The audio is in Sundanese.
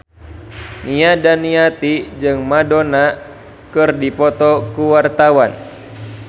Nia Daniati jeung Madonna keur dipoto ku wartawan